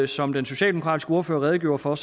som den socialdemokratiske ordfører redegjorde for